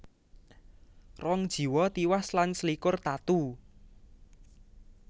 Rong jiwa tiwas lan selikur tatu